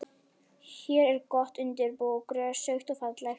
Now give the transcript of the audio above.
Hér er gott undir bú, grösugt og fallegt.